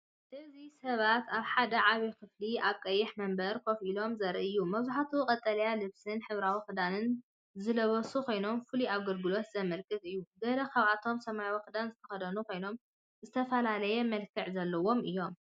እዚ ሰባት ኣብ ሓደ ዓቢ ክፍሊ ኣብ ቀይሕ መንበር ኮፍ ኢሎም ዘርኢ እዩ። መብዛሕትኦም ቀጠልያ ልብስን ሕብራዊ ክዳንን ዝለበሱ ኮይኖም፡ ፍሉይ ኣገልግሎት ዘመልክት እዩ። ገለ ካብኣቶም ሰማያዊ ክዳን ዝተኸድኑ ኮይኖም፡ ዝተፈላለየ መልክዕ ዘለዎም እዮም።